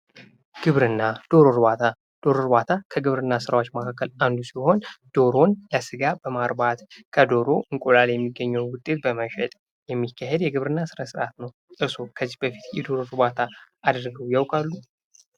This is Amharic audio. ግብርና ዶሮ እርባታ ዶሮ እርባታ ከግብርና ስራዎች መካከል አንዱ ሲሆን ዶሮን ለስጋ በማርባት ከዶሮ እንቁላል የሚገኘውን ውጤት በመሸጥ የሚካሄድ የግብርና ስነስርዓት ነው። እርስዎ ከዚህ በፊት የዶሮ ርባታ አድርገው ያውቃሉ?